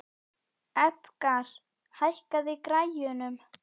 Edgar, hækkaðu í græjunum.